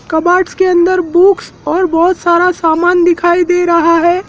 Cupboard के अन्दर books और बहोत सारा सामान दिखाई दे रहा है।